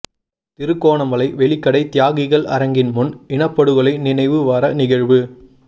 திருகோணமலை வெலிக்கடை தியாகிகள் அரங்கின் முன் இனப்படுகொலை நினைவு வார நிகழ்வு